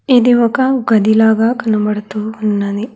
ఇది ఒక గది లాగా కనబడుతూ ఉన్నది.